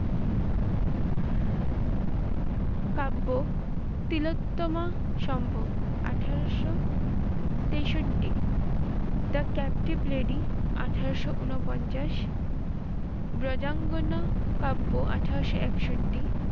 কাব্য তিলোত্তমা সম্ভব আঠারোশ তেষট্টি, the captive lady আঠারোশ উনপঞ্চাশ, ব্রজাঙ্গনা কাব্য আঠারোশ একষট্টি